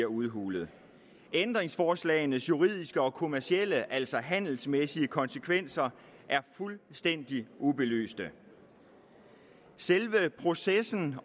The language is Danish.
udhulet ændringsforslagenes juridiske og kommercielle altså handelsmæssige konsekvenser er fuldstændig ubelyste selve processen